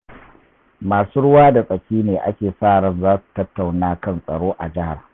Masu ruwa da tsaki ne ake sa ran za su tattauna kan tsaro a jihar.